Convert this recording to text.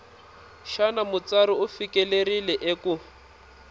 xana mutsari u fikelerile eku